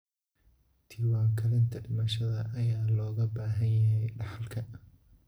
Diiwaangelinta dhimashada ayaa looga baahan yahay dhaxalka.